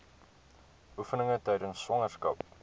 oefeninge tydens swangerskap